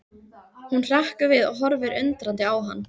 Hún hrekkur við og horfir undrandi á hann.